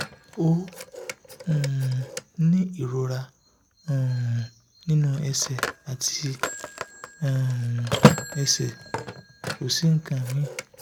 ó um ní ìrora um nínú ẹ̀sẹ̀ àti um ẹ̀sẹ̀ kò sí nǹkan míì